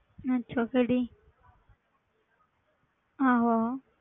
ਅੱਛਾ ਕਿਹੜੀ ਆਹੋ